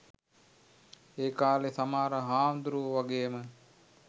ඒකාලෙ සමහර හාමුදුරුවො වගේම